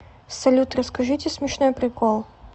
салют расскажите смешной прикол